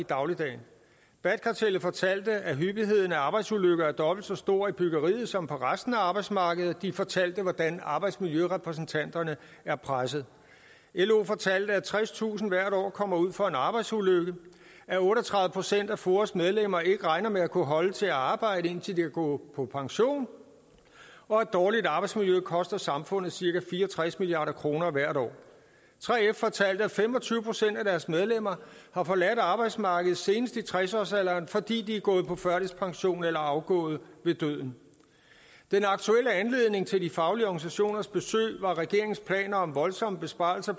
i dagligdagen bat kartellet fortalte at hyppigheden af arbejdsulykker er dobbelt så stor i byggeriet som på resten af arbejdsmarkedet og de fortalte hvordan arbejdsmiljørepræsentanterne er pressede lo fortalte at tredstusind hvert år kommer ud for en arbejdsulykke at otte og tredive procent af foas medlemmer ikke regner med at kunne holde til at arbejde indtil de kan gå på pension og at dårligt arbejdsmiljø koster samfundet cirka fire og tres milliard kroner hvert år 3f fortalte at fem og tyve procent af deres medlemmer har forladt arbejdsmarkedet senest i tres årsalderen fordi de er gået på førtidspension eller er afgået ved døden den aktuelle anledning til de faglige organisationers besøg var regeringens planer om voldsomme besparelser